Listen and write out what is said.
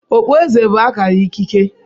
Okpueze bụ akara ikike